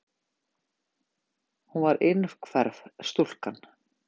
Hún var innhverf stúlka.